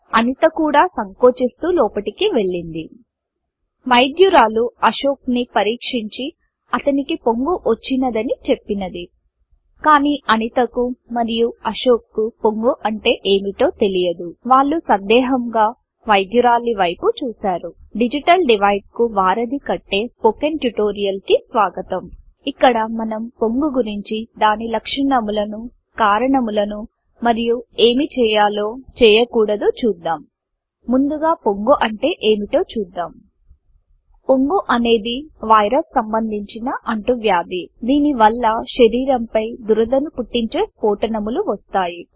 అనిత కూడా సంకోచిస్తూ లోపటికి వెళ్ళింది వైద్యురాలు అశోక్ ని పరీక్షించి అతనికి పొంగు వచ్చిoదని చెప్పింది కానీ అనిత కు మరియు అశోక్ కు పొంగు అంటే ఏoటో తెలియదు వాళ్ళు వైద్యురాలి వైపు సందేహముగా చూసారు డిజిటల్ డివైడ్ కు వారధి కట్టే స్పోకెన్ ట్యుటోరియల్ కి స్వాగతం ఇక్కడ మనం పొంగు గురించి దాని లక్షణములను కారణములను మరియు ఏమి చేయాలో చేయకుడదో చూద్దాం ముందుగా పొంగు అంటే ఏంటో చూద్దాం పొంగు అనేది వైరస్ సంబంధిన అంటువ్యాధిదీని వల్ల శరీరంపై దురదను పుట్టించే స్ఫోటనములు వస్తాయి